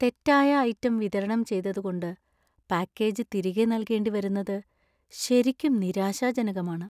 തെറ്റായ ഐറ്റം വിതരണം ചെയ്തതുകൊണ്ട് പാക്കേജ് തിരികെ നൽകേണ്ടിവരുന്നത് ശരിക്കും നിരാശാജനകമാണ്.